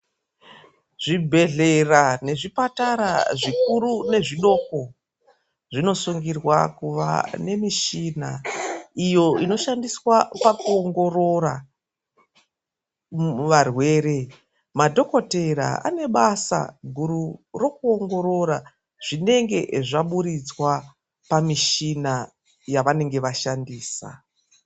Zvibhedhlera nezvipatara zvikuru nezvidoko zvinosungirwa kuva nemishina, iyo inoshandiswa pakuongorora varwere. Madhokotera ane basa guru rokuongorora zvinenge zvaburiswa pamushina yavanenge vashandisa.